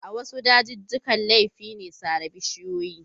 A wasu dajijjikan laifi ne sare bishiyoyi.